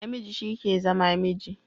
Namiji shi ke zama miji